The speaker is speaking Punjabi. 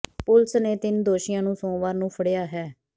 ਪੁਲਸ ਨੇ ਤਿੰਨ ਦੋਸ਼ੀਆਂ ਨੂੰ ਸੋਮਵਾਰ ਨੂੰ ਫੜਿਆ ਹੈ